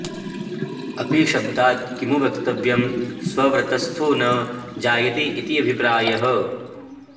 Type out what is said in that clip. अपिशब्दात् किमु वक्तव्यं स्ववृत्तस्थो न जायते इति अभिप्रायः